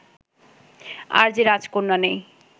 আর যে রাজকন্যা নেই